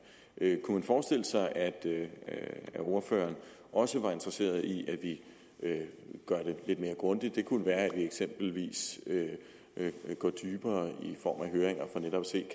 kunne man forestille sig at ordføreren også var interesseret i at vi gør det lidt mere grundigt det kunne eksempelvis være at gå dybere i form af høringer for netop at se